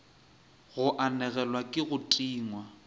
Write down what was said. go anegelwa ke go tingwa